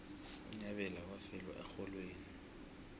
unyabela wafela erholweni